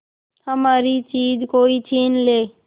हमारी चीज कोई छीन ले